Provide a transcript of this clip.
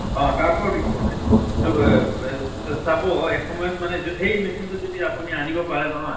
অʼ । তাৰ পৰাও দিস বনাই । তʼ ব ব চাব এসময়ত মানে সেই machine তো যদি আপুনি আনিব পাৰে নহয় ।